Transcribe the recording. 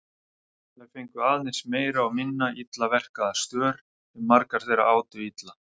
Þær fengu aðeins meira og minna illa verkaða stör sem margar þeirra átu illa.